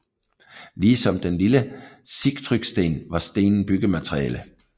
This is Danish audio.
Ligesom den lille Sigtrygsten var stenen byggemateriale